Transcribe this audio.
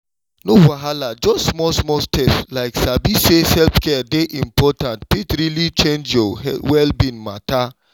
no wahala just small-small steps like sabi say self-care dey important fit really change your well-being matter.